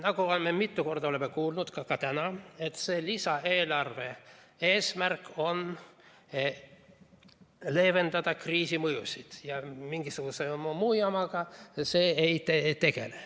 Me oleme mitu korda kuulnud ka täna, et lisaeelarve eesmärk on leevendada kriisi mõjusid ja mingisuguse muu jamaga see ei tegele.